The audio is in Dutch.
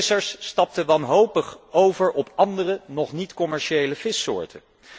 Vissers stapten wanhopig over op andere, nog niet commerciële vissoorten.